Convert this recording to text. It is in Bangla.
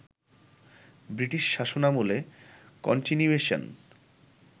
ব্রিটিশ শাসনামলের কনটিনিউয়েশন